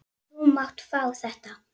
Þú mátt fá þetta.